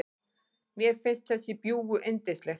Mér finnst þessi bjúgu yndisleg.